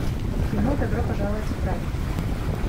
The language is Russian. кино добро пожаловать в рай